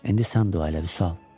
İndi sən dua elə, Vüsal.